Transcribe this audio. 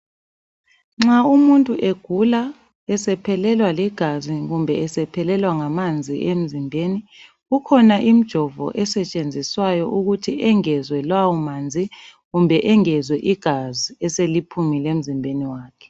Nxa umuntu egula, esephelelwa ligazi, kumbe esephelelwa ngamanzi emzimbeni. Kukhona imjovo, esetshenziswayo, ukuthi engezwe lawomanzi, kumbe engezwe igazi eseliphumile emzimbeni wakhe.